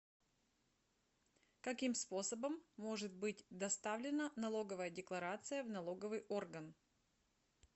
каким способом может быть доставлена налоговая декларация в налоговый орган